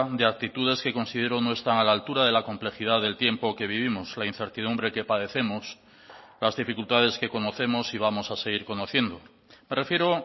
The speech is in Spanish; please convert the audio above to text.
de actitudes que considero no están a la altura de la complejidad del tiempo que vivimos la incertidumbre que padecemos las dificultades que conocemos y vamos a seguir conociendo me refiero